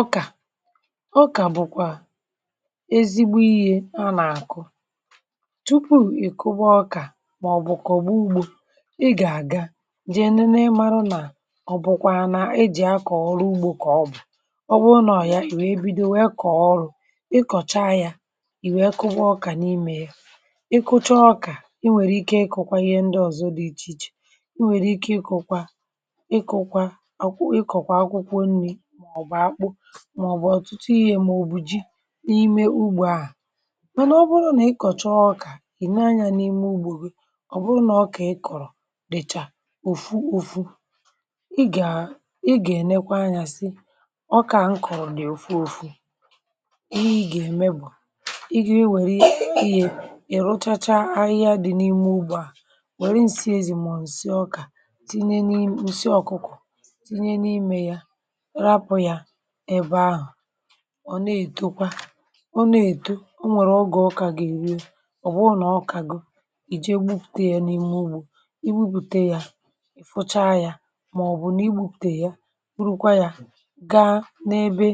ọkà ọkà bụkwà ezigbo ihe a nà-àkụ tupu ì kuba ọkà màọbụkwà ọ̀gbọ̀ ugbȯ ị gà-àga jee n’ụna ịmarụ nà ọ bụkwaana e jì akọ̀ ọrụ ugbȯ kọ̀ ọbụ̀ ọkpụ ụnọ̀ ya um ì wee bido wee kọ̀ọ ọrụ ị kọ̀cha ya ì wee kuba ọkà n’ime ya ị kụcha ọkà e nwèrè ike ịkụ̇kwa ihe ndị ọ̀zọ dị ichè ichè e nwèrè ike ịkụ̇kwa ịkụ̇kwa àkwụ ịkọ̀kwà akwụkwụ nri màọbụ̀ ọ̀tụtụ iyė mà òbùji n’ime ugbò a mànà ọ bụrụ nà ị kọ̀chaa ọkà kìnanya n’ime ugbò bù bụrụ nà ọkà ị kọ̀rọ̀ dị̀chà òfu òfu ị gà, ị gà ènekwa anya sị ọkà m kọ̀rọ̀ dị̀ ofu òfu um ị gà èmebọ̀ ị gà, wère yȧ ịrụ̇chacha ahịhịa dị n’ime ugbò a wère m̀sị ezì mà ǹsị ọkà tinye n’ị, ǹsị ọ̀kụkọ̀ tinye n’ime ya ọ na-eto kwa ọ na-eto o nwere oge ọkà ga-eruo ọ bụrụ na ọkà goo i jee bupute ya na ime ugbo i bupute ya fụcha ya maọbụ na i gbutu ya burukwa ya ga n’ebe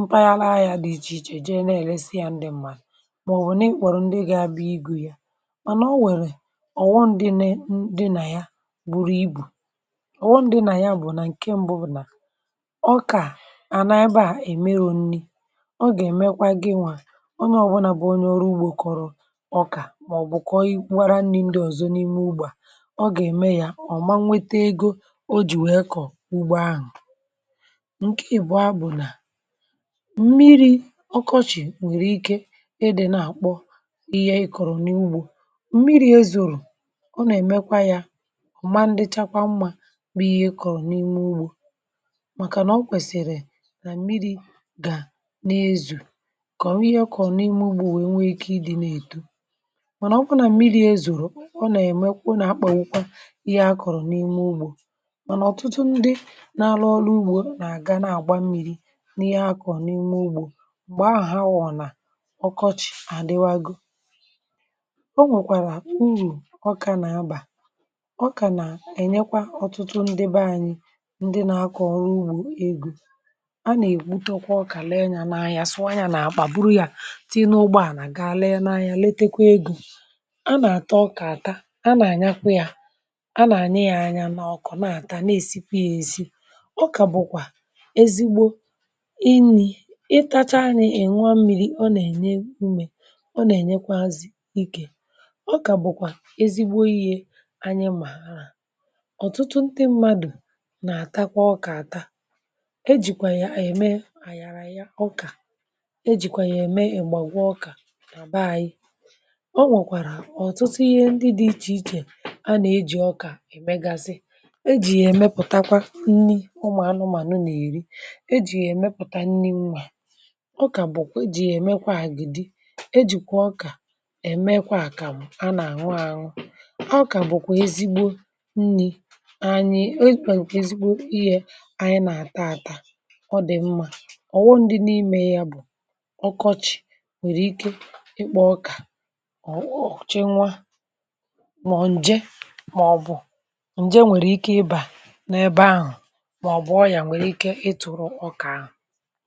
mpaghara ahịa dị iche iche je na-elesi ya ndị mmadụ maọbụ na-ekworo ndị ga-abịa igwu ya mana o nwere ọ̀ghọm dị ne ndị na ya gburu ibù ọ̀ghọm dị na ya bụ na nke mbụ bụ na ọkà ọ gà-èmekwa gị nwà onye ọ̀bụlà bụ̀ onye ọrụ ugbȯ kọ̀rọ̀ ọkà mà ọ̀ bụ̀kọ̀ wara nni̇ ndị ọ̀zọ n’ime ugbȧ ọ gà-ème ya ọ̀ ma nwete ego o jì nwèe kọ̀ ugbȯ ahụ̀ ǹkẹ̀ ị̀bụa bụ̀ nà mmiri̇ ọkọchị̀ nwèrè ike ẹdẹ̀ nà-àkpọ ihe ị kọ̀rọ̀ n’ugbȯ mmiri̇ ezùrù ọ nà-èmekwa yȧ ọ̀ ma ndị chakwa mmȧ bụ ihe ị kọ̀rọ̀ n’ime ugbȯ kọ̀ọ ihe ọkọ̀rọ̀ n’ime ụgbọ̇ nwè ike ị dị na-eto mànà ọ bụ nà mmiri ezòrò ọ nà-èmekwu nà-akpọ̀wụkwa ihe akọ̀rọ̀ n’ime ụgbọ̇ mànà ọ̀tụtụ ndị na-alụ ọrụ ugbȯ nà-àga n’àgba mmi̇ri n’ihe akọ̀ọ n’ime ụgbọ̀ m̀gbè ahụ̀ ha wọ̀ nà ọkọch àdịwago o nwèkwàrà urù ọkà nà-abà ọ kà nà-ènyekwa ọtụtụ ndị be anyị ndị na-akọ̀ọrọ̀ ugbȯ egȯ ọkà bụkwà ezigbo iyė anyị mà ọ̀tụtụ ntụ mmadụ̀ nà-àtakwa ọkà àta ejìkwà ya ànyị ème e jìkwàrà ya ème èmègbagwa ọkà nàaba anyị um ọ nwèkwàrà ọ̀tụtụ ihe ndị dị̇ ichè ichè anà-ejì ọkà èmegazị e jì yà èmepùtakwa nni ụmụ̀anụmànụ n’èri e jì yà èmepùta nni mmȧ ọkà bụ̀kwà ejì yà èmekwà àgìdị e jìkwà ọkà èmekwà àkàmụ̀ a nà àṅụ àṅụ ọkà bụ̀kwà ezigbo nni̇ anyị ezigbo èzigbo ihė anyị nà àta àta ọkọchị nwèrè ike ikpọ ọkà ọ̀ghọ̀chịnwa mà ọ̀ ǹje mà ọ̀ bụ̀ ǹje nwèrè ike ịbà n’ebe ahụ̀ mà ọ̀ bụ̀ ọyà nwèrè ike ịtụ̇rụ̇ ọkà ahụ̀